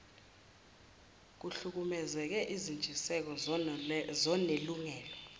kuhlukumeze izintshiseko zonelungelo